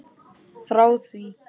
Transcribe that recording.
Frá því